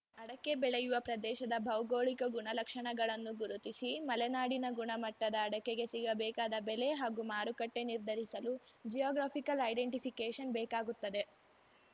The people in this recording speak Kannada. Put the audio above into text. ಅಡಕೆ ಬೆಳೆಯುವ ಪ್ರದೇಶದ ಭೌಗೋಳಿಕ ಗುಣಲಕ್ಷಣಗಳನ್ನು ಗುರುತಿಸಿ ಮಲೆನಾಡಿನ ಗುಣಮಟ್ಟದ ಅಡಕೆಗೆ ಸಿಗಬೇಕಾದ ಬೆಲೆ ಹಾಗೂ ಮಾರುಕಟ್ಟೆನಿರ್ಧರಿಸಲು ಜಿಯಾಗ್ರಫಿಕಲ್‌ ಐಡೆಂಟಿಫಿಕೇಶನ್‌ ಬೇಕಾಗುತ್ತದೆ